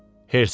Hersk dedi.